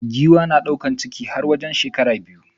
Giwa na daukan ciki har wajen shekara biyu.